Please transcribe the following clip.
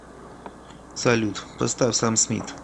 салют поставь сэм смит